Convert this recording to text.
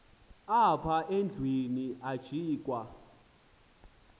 apha endlwini ajikwa